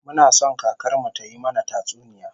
Muna son kakar mu tayi mana tatsuniya